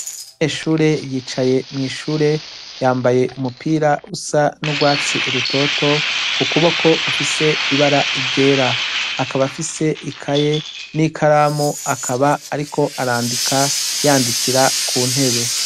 Umunyeshure yicaye nw' ishure, yambaye umupira usa n'urwatsi irutoto, ku kuboko ufise ibara ryera. Akaba afise ikaye n'ikaramu, akaba ariko arandika yandikira ku ntebe.